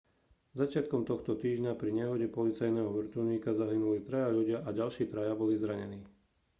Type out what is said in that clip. začiatkom tohto týždňa pri nehode policajného vrtuľníka zahynuli traja ľudia a ďalší traja boli zranení